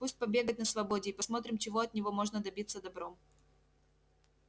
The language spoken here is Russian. пусть побегает на свободе и посмотрим чего от него можно добиться добром